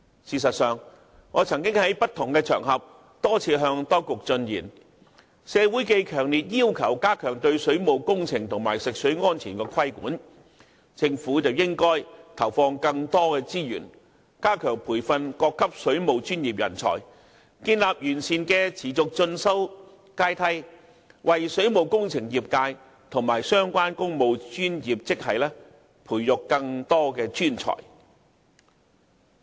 事實上，我曾於不同場合多次向當局進言：鑒於社會強烈要求加強對水務工程及食水安全的規管，政府應投放更多資源，加強培訓各級水務專業人才，建立完善的持續進修階梯，為水務工程業界及相關工務專業職系培育更多專才。